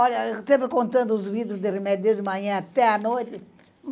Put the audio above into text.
Olha, eu esteve contando os de remédio desde manhã até a noite.